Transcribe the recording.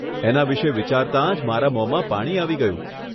એના વિષે વિચારતા જ મારા મોમાં પાણી આવી ગયું.